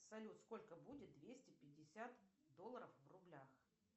салют сколько будет двести пятьдесят долларов в рублях